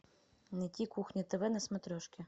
найти кухня тв на смотрешке